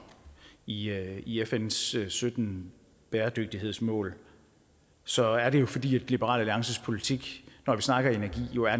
i i fns sytten bæredygtighedsmål så er det jo fordi liberal alliances politik når vi snakker energi